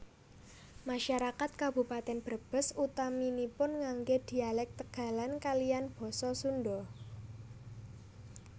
Masarakat Kabupatèn Brebes utaminipun nganggé dhialèk Tegalan kaliyan basa Sundha